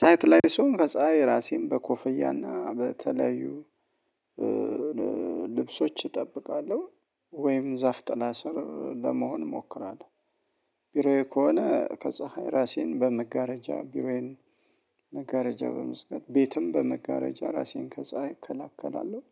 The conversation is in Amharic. ሳይት ላይ ስሆን ከፀሀይ ራሴን በኮፈያና በተለያዩ ልብሶች እጠብቃለሁ ወይም ዛፍ ጥለ ስር ለመሆን እሞክራለሁ። ቢሮዬ ከሆነ ከፀሀይ ራሴን በመጋረጃ ቢሮዬን መጋረጃ በመዝጋት ቤትም በመጋረጃ ራሴን ከፀሀይ እከላከላለሁ።